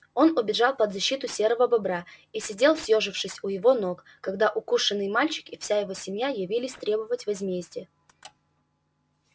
он убежал под защиту серого бобра и сидел съёжившись у его ног когда укушенный мальчик и вся его семья явились требовать возмездия